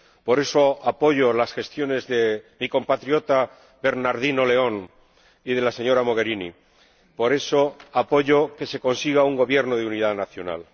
por eso apoyo las gestiones de mi compatriota Bernardino León y de la señora Mogherini, por eso apoyo que se consiga un gobierno de unidad nacional.